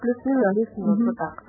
аа